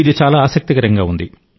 ఇది చాలా ఆసక్తికరంగా ఉంది